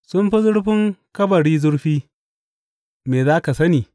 Sun fi zurfin kabari zurfi, me za ka sani?